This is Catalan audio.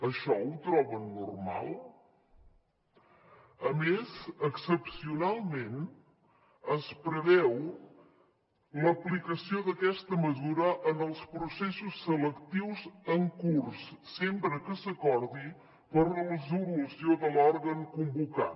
això ho troben normal a més excepcionalment es preveu l’aplicació d’aquesta mesura en els processos selectius en curs sempre que s’acordi per resolució de l’òrgan convocant